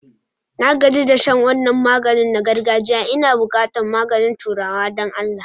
Na gaji da shan wannan maganin na girgajia Ina buƙatar maganin turawa don Allah.